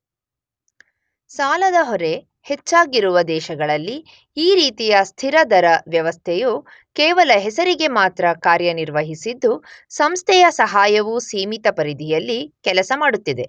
ಸಾಲದ ಹೊರೆ ಹೆಚ್ಚಾಗಿರುವ ದೇಶಗಳಲ್ಲಿ ಈ ರೀತಿಯ ಸ್ಥಿರ ದರ ವ್ಯವಸ್ಥೆಯು ಕೇವಲ ಹೆಸರಿಗೆ ಮಾತ್ರ ಕಾರ್ಯನಿರ್ವಹಿಸಿದ್ದು ಸಂಸ್ಥೆಯ ಸಹಾಯವು ಸೀಮಿತ ಪರಿಧಿಯಲ್ಲಿ ಕೆಲಸ ಮಾಡುತ್ತಿದೆ.